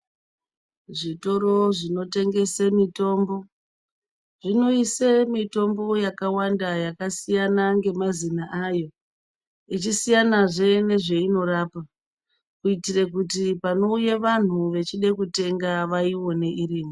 Zvitoro zvinotengese mitombo zvinoise mitombo yakawanda yakasiyana ngemazina ayo ichisiyana zvee nezveinorapa kuitire kuti panouye vanhu vechide kutenga vaione irimo.